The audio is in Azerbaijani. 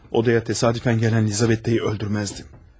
Oraya təsadüfən gələn Lizavetayı öldürməzdim.